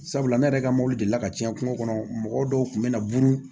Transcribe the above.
Sabula ne yɛrɛ ka mɔbili la cɛn kɔnɔ mɔgɔ dɔw kun bɛ na buru